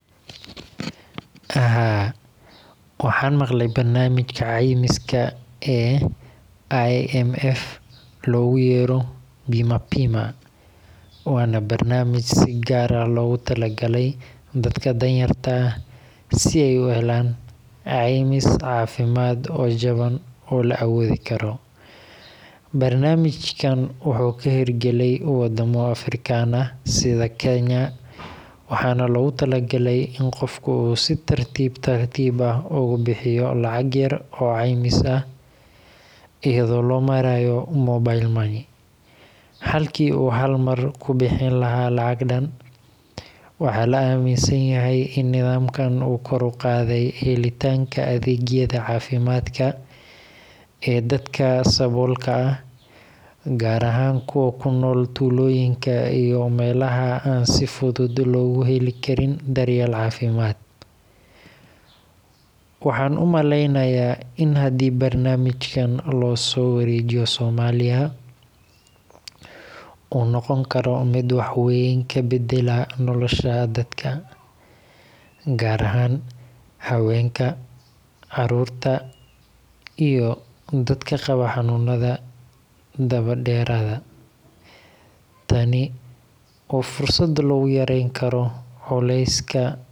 Haa waxaan maqlay barnamijka ceymiska ee IMF loogu yeero Bima pima, waana barnamij si gaar ah loogu tala galay dad danyarta ah si aay uhelaan ceymis cafimaad oo jaban oo la awoodi Karo, barnamijka wuxuu ka heer galay wadamo african ah sida Kenya, waxaana loogu tala galay in qofka si tartiib ah ugu bixiyo lacag yar oo ceymis ah ayado loo maraayo mobile money ,halki uu hal mar kubixin lahaa lacag dan, nidaamkan kor uqaade helitaanka adeegyada cafimaad ee dadka saboolka ah, gaar ahaan kuwa kunool tuuloyinka iyo melaha aan si fudud looga heli karin daryeel cafimaad, waxaan umaleynaya in hadii barnamijkan losoo wareejiyo somalia uu noqon karo mid wax weyn kabadalyo nolosha dadaka gaar ahaan habeenka, caruurta iyo dadka qabo xanuunada daba deerada.